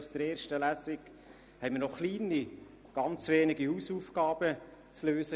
Aus der ersten Lesung hatten wir noch ganz wenige, kleine Hausaufgaben zu lösen.